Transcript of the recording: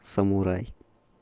самурай